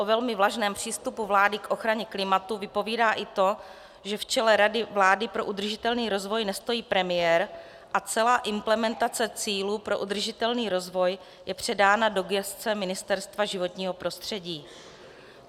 O velmi vlažném přístupu vlády k ochraně klimatu vypovídá i to, že v čele Rady vlády pro udržitelný rozvoj nestojí premiér a celá implementace cílů pro udržitelný rozvoj je předána do gesce Ministerstva životního prostředí.